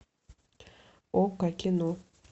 окко кино